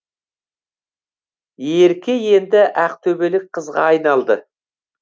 ерке енді ақтөбелік қызға айналды